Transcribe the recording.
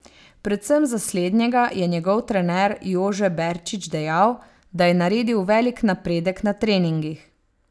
Predvsem za slednjega je njegov trener Jože Berčič dejal, da je naredil velik napredek na treningih.